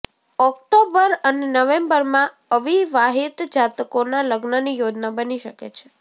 October અને નવેમ્બરમાં અવિવાહિત જાતકોના લગ્નની યોજના બની શકે છે